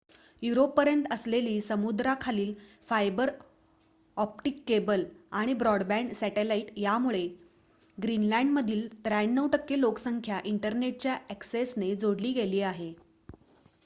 युरोपपर्यंत असलेली समुद्राखालील fibre optic cable आणि ब्रॉडबँड सॅटेलाइट यांमुळे ग्रीनलँडमधील ९३% लोकसंख्या इंटरनेटच्या अॅक्सेसने जोडली गेली आहे